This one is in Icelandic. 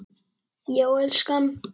Já, elskan?